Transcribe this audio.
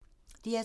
DR2